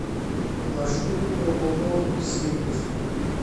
маршрут ооо сириус